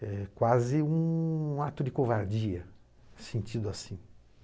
É quase um ato de covardia sentido assim.